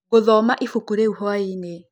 Ngũthoma ĩbũkũ rĩũ hwaĩnĩ.